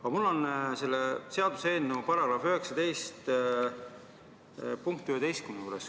Aga mul on küsimus seaduseelnõu kohaselt muudetava turismiseaduse § 19 punkti 11 kohta.